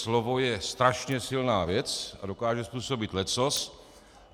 Slovo je strašně silná věc a dokáže způsobit leccos.